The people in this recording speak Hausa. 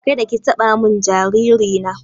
Kada ki taɓa mun jariri na!